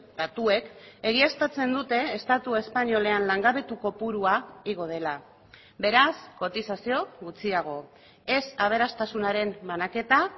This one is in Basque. datuek egiaztatzen dute estatu espainolean langabetu kopurua igo dela beraz kotizazio gutxiago ez aberastasunaren banaketa